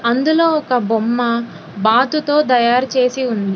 అందులో ఒక బొమ్మ బాతుతో తయారు చేసి ఉంది.